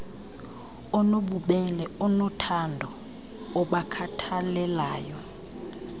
onobubele onothando obakhathalelayo